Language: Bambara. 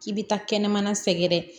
K'i bɛ taa kɛnɛmana sɛgɛrɛ